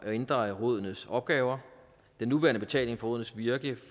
ændre rådenes opgaver den nuværende betaling for rådenes virke